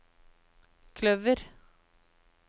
kløver